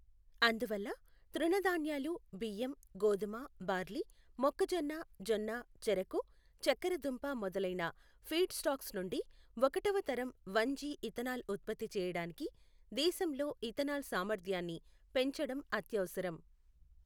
అందువల్ల, తృణధాన్యాలు బియ్యం, గోధుమ, బార్లీ, మొక్కజొన్న జొన్న, చెరకు, చక్కెర దుంప మొదలైన ఫీడ్ స్టాక్స్ నుండి ఒకటవ తరం వన్ జి ఇథనాల్ ఉత్పత్తి చేయడానికి దేశంలో ఇథనాల్ సామర్థ్యాన్ని పెంచడం అత్యవసరం.